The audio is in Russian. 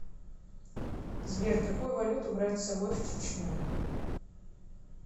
сбер какую валюту брать с собой в чечню